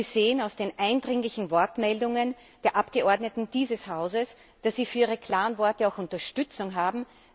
Sie sehen aus den eindringlichen Wortmeldungen der Abgeordneten dieses Hauses, dass Sie für Ihre klaren Worte auch Unterstützung haben.